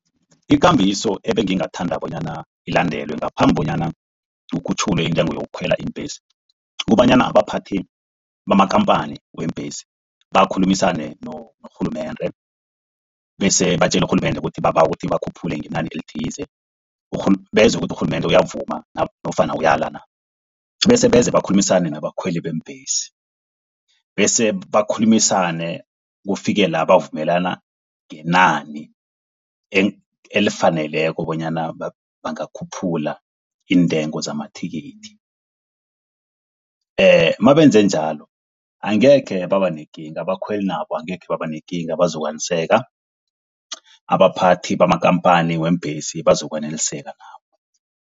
Ikambiso ebengithanda bona ilandelwe ngaphambi bonyana kukhutjhulwe intengo yokukhwela iimbhesi. Kukobanyana abaphathi bamakhamphani weembhesi bakhulumisane norhulumende, bese batjele urhulumende ukuthi babawa ukuthi bakhuphule ngenani elithize. Bezwe ukuthi urhulumende uyavuma nofana uyala, bese beze bakhulumisane nabakhweli beembhesi. Bese bakhulumisane kufike la bavumelana ngenani elifaneleko bonyana bangakhuphula iintengo zamathikithi. Mabenze njalo angekhe babanekinga abakhweli nabo angekhe baba nekinga, bazokwaneliseka. Abaphathi bamakhamphani weembhesi bazo kwaneliseka nabo.